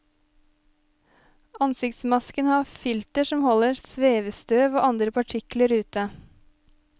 Ansiktsmasken har filter som holder svevestøv og andre partikler ute.